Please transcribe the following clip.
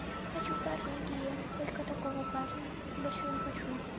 хочу парня гея только такого парня больше я не хочу